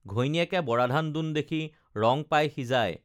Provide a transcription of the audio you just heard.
ঘৈণীয়েকে বৰাধান দোন দেখি ৰং পাই সিজাই